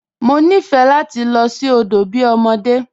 Mọ nifẹ́ lati lọ sí odo bí ọmọdé.